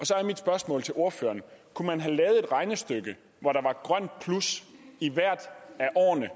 så er mit spørgsmål til ordføreren kunne man have lavet et regnestykke hvor der var grønt plus i hvert af årene